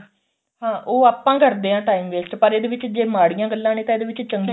ਹਾਂ ਉਹ ਆਪਾਂ ਕਰਦੇ ਆ time waste ਪਰ ਇਹਦੇ ਵਿੱਚ ਜੇ ਮਾੜੀਆ ਗੱਲਾ ਨੇ ਤਾਂ ਇਹਦੇ ਵਿੱਚ ਚੰਗੀਆ